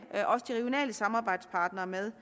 samarbejdspartnere med